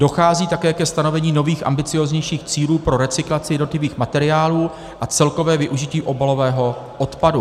Dochází také ke stanovení nových, ambicióznějších cílů pro recyklaci jednotlivých materiálů a celkové využití obalového odpadu.